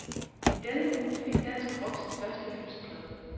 I denne uge fik dansk rock sin første hyldestplade.